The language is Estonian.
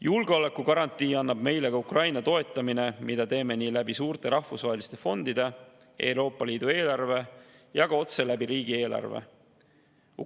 Julgeolekugarantii annab meile ka Ukraina toetamine, mida teeme nii suurte rahvusvaheliste fondide, Euroopa Liidu eelarve kui ka otse riigieelarve kaudu.